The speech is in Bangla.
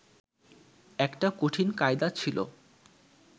একটা কঠিন কায়দা ছিল